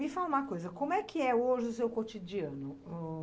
Me fala uma coisa, como é que é hoje o seu cotidiano? Hm...